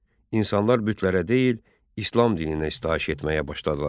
İnsanlar bütlərə deyil, İslam dininə istəyiş etməyə başladılar.